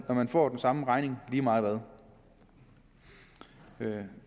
når man får den samme regning lige meget hvad